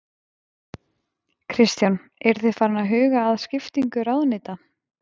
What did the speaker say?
Kristján: Eru þið farin að huga að skiptingu ráðuneyta?